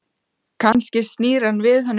Kannski snýr hann við henni baki?